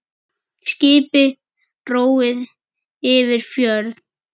Skipi róið yfir fjörð.